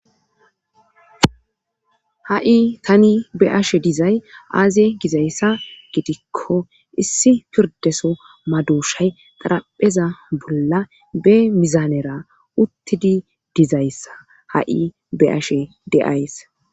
ha7i tani be ashe dizay aaziye gizayssa gidikko issi pirdeso maduushay qarapheza bolla be mizanera uttidi dizayssa ha7i be ashe de7ays